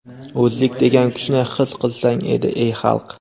O‘zlik degan kuchni his qilsang.edi ey xalq.